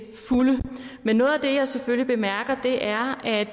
fulde men noget af det jeg selvfølgelig bemærker er at